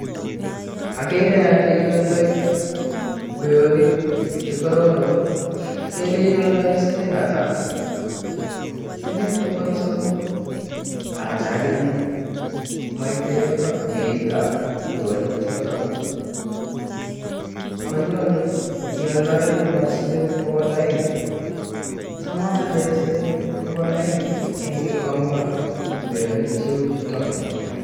Akere ale ialndai kweonik chekororon kele ialdaen siling hata, siling bogol somok, acha akinyee moite yoton beitab kweonichotak, konyolu ialdaenen siling bogol aeng cham aalen siling bogol aeng en gikomba kweonik cheuchutok.